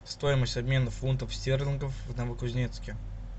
стоимость обмена фунтов стерлингов в новокузнецке